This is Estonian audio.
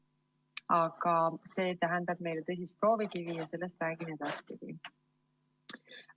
Aga see tähendab meile tõsist proovikivi ja sellest räägin edaspidi.